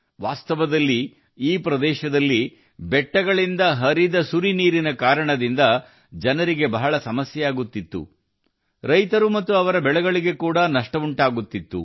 ವಾಸ್ತವವಾಗಿ ಈ ಪ್ರದೇಶದಲ್ಲಿ ಪರ್ವತದಿಂದ ನೀರು ಹರಿಯುವುದರಿಂದ ಜನರು ಬಹಳಷ್ಟು ಸಮಸ್ಯೆಗಳನ್ನು ಹೊಂದಿದ್ದರು ರೈತರು ಮತ್ತು ಅವರ ಬೆಳೆಗಳು ಸಹ ನಷ್ಟವನ್ನು ಅನುಭವಿಸಿದವು